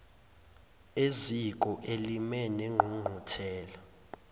eziko elimile lengqungquthela